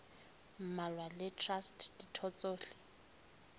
mmalwa le traste ditho tsohle